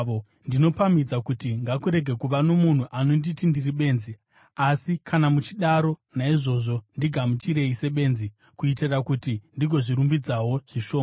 Ndinopamhidza kuti: Ngakurege kuva nomunhu anonditi ndiri benzi. Asi kana muchidaro, naizvozvo ndigamuchirei sebenzi, kuitira kuti ndigozvirumbidzawo zvishoma.